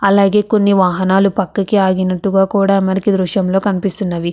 అలాగే కొన్ని వాహనాలు పక్కకి ఆగినట్టుగా కూడా మనకీ దృశ్యంలో కనిపిస్తున్నవి.